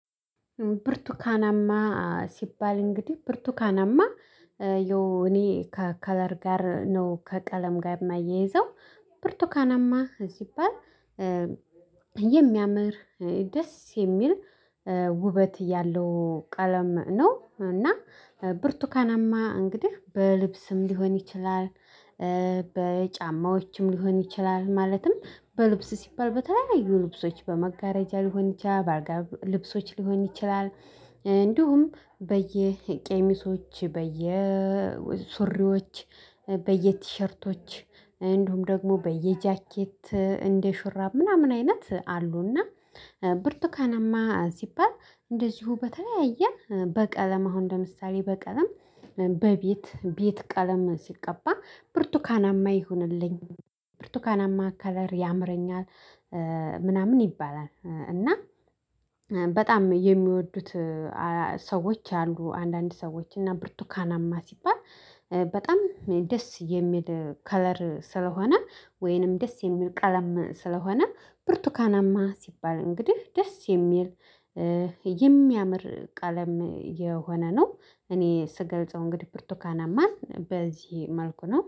ብርቱካናማ ሲባል እንግዲህ ብርቱካናማ ያው እኔ ከከለር ጋር ነው ከቀለም ጋር የማያይዘው ብርቱካናማ ሲባል የሚያምር ደስ የሚል ውበት ያለው ቀለም ነው። እና ብርቱካናማ እንግዲህ በልብስም ሊሆን ይችላል። በጫማዎችም ሊሆን ይችላል ማለትም በልብስ ሲባል በተለያዩ ልብሶች በመጋረጃ ሊሆን ይችላል በአልጋ ልብሶች ሊሆን ይችላል። እንዲሁም በየቄሚሶች በየሱሪዎች በየቲሸርቶች እንዲሁም ደግሞ በየጃኬት እንደ ሹራብ ምናምን አይነት አሉና። ብርቱካናማ ሲባል እንደዚሁ በተለያየ በቀለም አሁን ለምሳሌ በቀለም በቤት ቤት ቀለም ሲቀባ ብርቱካናማ ይሁንልኝ ብርቱካናማ ከለር ያምረኛል። ምናምን ይባላል እና በጣም የሚወዱት ሰዎች አሉ። አንዳንድ ሰዎች እና ብርቱካናማ ሲባል በጣም ደስ የሚል ከለር ስለሆነ ወይንም ደስ የሚል ቀለም ስለሆነ ብርቱካናማ ሲባል እንግዲህ ደስ የሚል የሚያምር ቀለም የሆነ ነው። እኔ ስገልጸው እንግዲህ ፕርቱካናማን በዚህ መልኩ ነው